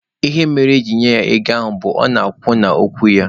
Ihe mere ejiri nye ya ego ahụ bụ, ọ na-akwụ n'okwu ya.